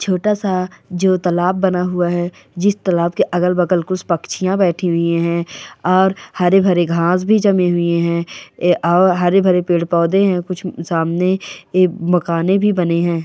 छोटा-सा जो तालाब बना हुआ है जिस तालाब के अगल-बगल कुछ पक्षीयां बैठी हुई है और हरे-भरे घास भी जमे हुए हैं और हरे-भरे पेड़ पौधे हैं कुछ सामने एक मकाने भी बने हैं।